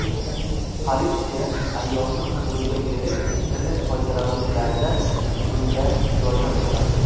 Politsiya ayolni qidiruvga berib, internet foydalanuvchilaridan bunda yordam so‘radi.